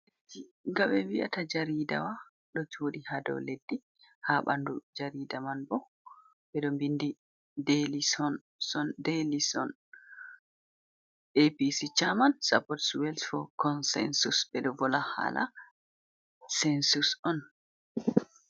Nga ɓe wi'ata jariidawa ɗo jooɗi haa do leddi, haa ɓanndu jariida man boo ɓe ɗo mbinndi Deylison, son, Daylison APC Caaman Sapot Suwel fo Konsensus, ɓe ɗo vola haala sensus on.